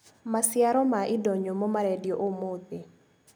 Maciaro ma indo nyũmũ marendio ũmũthĩ.